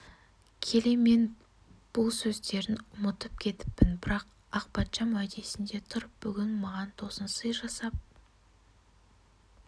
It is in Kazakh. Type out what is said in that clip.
келе мен бұл сөздерін ұмытып кетіппін бірақ ақпатшам уәдесінде тұрып бүгін маған тосын сый жасап